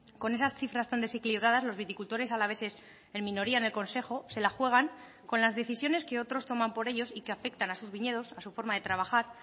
con esas cifras tan desequilibradas los viticultores alaveses en minoría en el consejo se la juegan con las decisiones que otros toman por ellos y que afectan a sus viñedos a su forma de trabajar